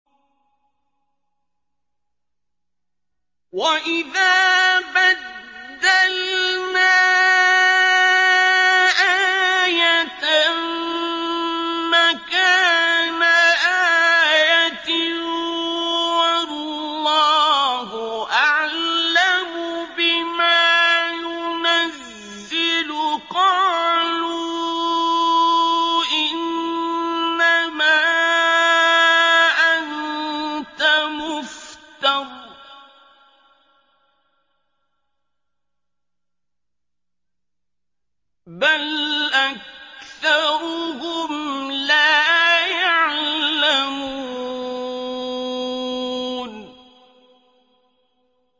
وَإِذَا بَدَّلْنَا آيَةً مَّكَانَ آيَةٍ ۙ وَاللَّهُ أَعْلَمُ بِمَا يُنَزِّلُ قَالُوا إِنَّمَا أَنتَ مُفْتَرٍ ۚ بَلْ أَكْثَرُهُمْ لَا يَعْلَمُونَ